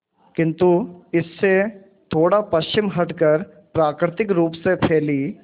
किंतु इससे थोड़ा पश्चिम हटकर प्राकृतिक रूप से फैली